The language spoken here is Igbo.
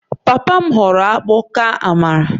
Papa m họọrọ akpu ka amala